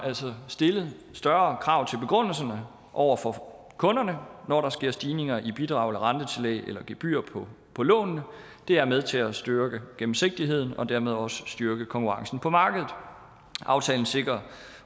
altså stillet større krav til begrundelserne over for kunderne når der sker stigninger i bidrag rentetillæg eller gebyrer på på lånene det er med til at styrke gennemsigtigheden og dermed også styrke konkurrencen på markedet aftalen sikrer